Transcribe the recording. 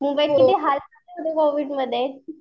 मुंबईत किती कोविडमध्ये